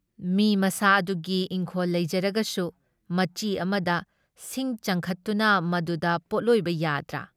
ꯃꯤ ꯃꯁꯥ ꯑꯗꯨꯒꯤ ꯏꯪꯈꯣꯜ ꯂꯩꯖꯔꯒꯁꯨ ꯃꯆꯤ ꯑꯃꯗ ꯁꯤꯡ ꯆꯟꯈꯠꯇꯨꯅ ꯃꯗꯨꯗ ꯄꯣꯠꯂꯣꯏꯕ ꯌꯥꯗ꯭ꯔꯥ?